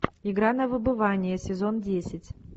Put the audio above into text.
игра на выбывание сезон десять